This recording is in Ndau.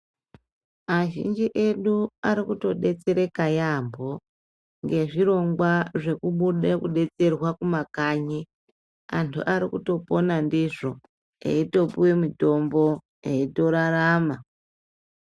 Azhinji edu arikutodetsereka yambo nezvirongwa zvekubuda kudetserwa mumakanyi antu Ari kutopona ndizvo eitopuwa mutombo eitorarama.